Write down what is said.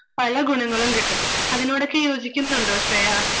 പല ഗുണങ്ങളും കിട്ടും. അതിനോടൊക്കെ യോജിക്കുന്നുണ്ടോ ശ്രേയാ?